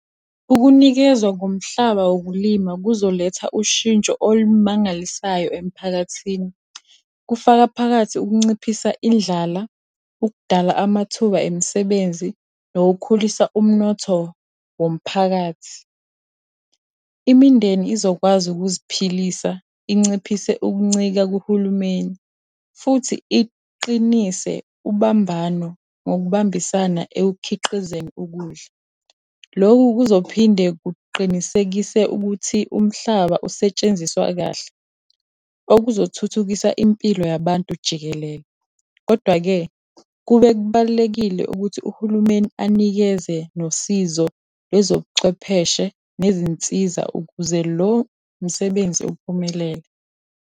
Ukunikezwa ngomhlaba wokulima kuzoletha ushintsho olumangalisayo emphakathini. Kufaka phakathi ukunciphisa indlala, ukudala amathuba emsebenzi, nokukhulisa umnotho womphakathi. Imindeni izokwazi ukuziphilisa, inciphise ukuncika kuhulumeni, futhi iqinise ubambano ngokubambisana ekukhiqizeni ukudla. Lokhu kuzophinde kuqinisekise ukuthi umhlaba usetshenziswa kahle, okuzothuthukisa impilo yabantu jikelele. Kodwa-ke, kubalulekile ukuthi uhulumeni anikeze nosizo lwezobuchwepheshe nezinsiza ukuze lo msebenzi uphumelele.